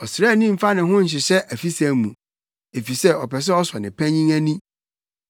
Ɔsraani mmfa ne ho nhyehyɛ afisɛm mu, efisɛ ɔpɛ sɛ ɔsɔ ne panyin ani.